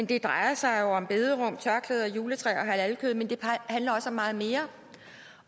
det drejer sig om bederum tørklæder juletræer og halalkød men det handler også om meget mere